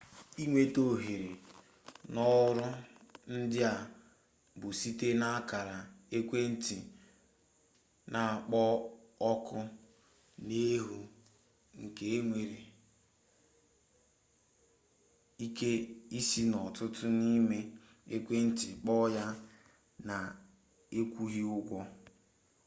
inweta ohere n'ọrụ ndị a bụ site n'akara ekwentị n'akpọ oku n'efu nke e nwere ike isi n'ọtụtụ n'ime ekwenti kpọọ ya na-akwụghị ụgwọ